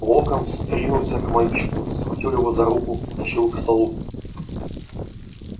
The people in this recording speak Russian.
локонс ринулся к мальчику схватил его за руку потащил к столу